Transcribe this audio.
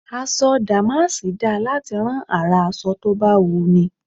Aṣọ dàmásì dáa láti rán àrà aṣọ tó bá wùnni.